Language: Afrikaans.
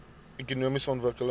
ekonomiese ontwikkeling